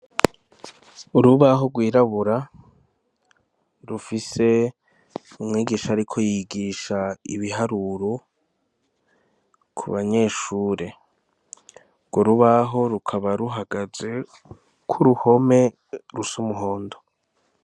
Urubaho rwirabura rufise umwigisha ariko yigisha ibiharuro, ku banyeshure. Urwo rubaho rukaba ruhagaze ku ruhome rusa umuhondo.